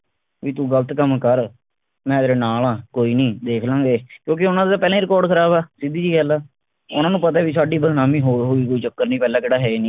ਬਈ ਤੂੰ ਗਲਤ ਕੰਮ ਕਰ ਮੈਂ ਤੇਰੇ ਨਾਲ ਆ ਕੋਈ ਨੀ ਦੇਖ ਲਾ ਗੇ ਕਿਉਂਕਿ ਉਨ੍ਹਾਂ ਦੇ ਤਾਂ ਪਹਿਲਾਂ ਹੀ record ਖਰਾਬ ਆ ਸਿੱਧੀ ਜੀ ਗੱਲ ਆ ਉਨ੍ਹਾਂ ਨੂੰ ਪਤਾ ਆ ਸਾਡੀ ਬਦਨਾਮੀ ਹੋਰ ਹੋਜੂਗੀ ਕੋਈ ਚੱਕਰ ਨੀ ਪਹਿਲਾਂ ਕਿਹੜਾ ਹੈ ਹੀ ਨਹੀਂ